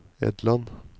Edland